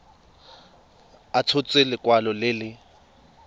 a tshotse lekwalo le le